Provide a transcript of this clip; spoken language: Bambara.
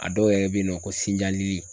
A dɔw yɛrɛ be yen nɔ ko sinja lili